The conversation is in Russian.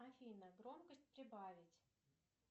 афина громкость прибавить